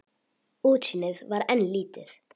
Útsýnið var enn lítið.